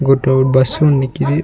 ஒரு town bus ஒன்னு நிக்கிது.